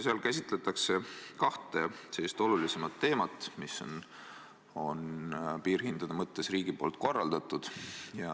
Seal käsitletakse kahte olulisemat teemat, mis on piirhindade mõttes riigi poolt korraldatud.